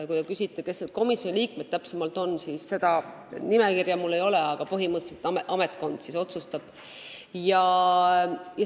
Kui te küsite, kes need komisjoni liikmed täpsemalt on, siis seda nimekirja mul ei ole, aga põhimõtteliselt ametkond otsustab.